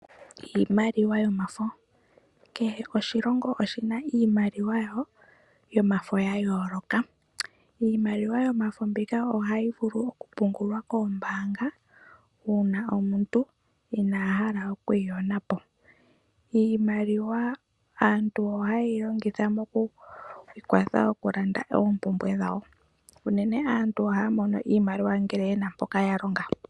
Kehe oshilongo oshina iimaliwa yawo yomafo yayooloka. Iimaliwa yomafo mbika ohayi vulu okupungulwa koombaanga uuna omuntu inaa hala okwiiyonapo . Aantu ohaya longitha iimaliwa moompumbwe. Unene aantu ohaya mono iimaliwa uuna yena sha yalonga.